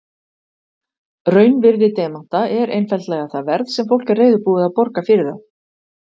Raunvirði demanta er einfaldlega það verð sem fólk er reiðubúið að borga fyrir þá.